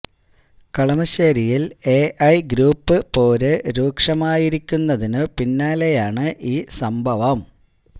കളമശേരിയില് A I group പോര് രൂക്ഷമായിരിക്കുന്നതിന് പിന്നാലെയാണ് ഈ സംഭവം